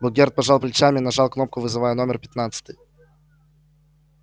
богерт пожал плечами и нажал кнопку вызывая номер пятнадцатый